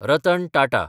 Ratan Tata